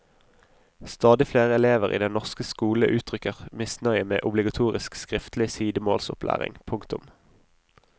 Stadig flere elever i den norske skole uttrykker misnøye med obligatorisk skriftlig sidemålsopplæring. punktum